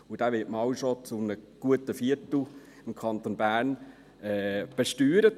Und dieser wird schon einmal zu einem guten Viertel im Kanton Bern besteuert.